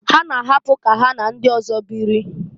Ha na-ahapụ ka ha na ndị ọzọ biri.